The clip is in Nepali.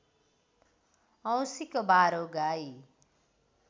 औँसीको बारो गाई